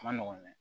A ma nɔgɔn dɛ